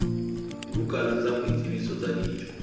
dibukana tsa boitsebiso tsa ditho